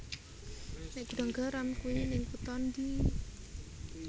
Nek Gudang Garam kui ning kuto ndi